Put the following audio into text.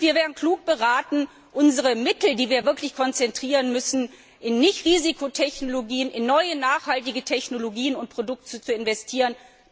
Wir wären gut beraten, unsere Mittel, die wir wirklich konzentrieren müssen, in Nicht Risikotechnologien, in neue nachhaltige Technologien und Produkte zu investieren.